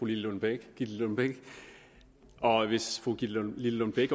lillelund bech og hvis fru gitte lillelund bech